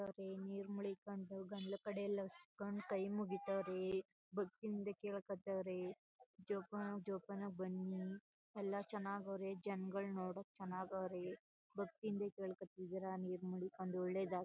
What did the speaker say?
ನೀರು ಮುಳಿಕೊಂಡು ಗಾಂಡ್ಲಾಕಡೆ ಎಲ್ಲ ಹಸ್ಕೊಂಡು ಕೈ ಮುಗಿತಾವ್ರೆ ಭಕ್ತಿ ಇಂದ ಕೇಳ್ಕೋತಾವ್ರೆ ಜೋಪಾನ ಜೋಪಾನವಾಗಿ ಬನ್ನಿ ಎಲ್ಲ ಚನ್ನಾಗ್ ಅವರೇ ಜನ್ಗಳು ನೋಡೋಕೆ ಚನ್ನಾಗ್ ಅವ್ರೆ ಭಕ್ತಿ ಇಂದ ಕೆಲೊಕೋತಿದೀರಾ ನೀರು ಮುಳಿಕೊಂಡು ಒಳ್ಳೇದಾಗಲಿ.